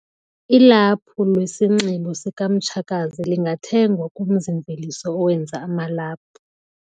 Ilaphu lwesinxibo sikamtshakazi lingathengwa kumzi-mveliso owenza amalaphu.,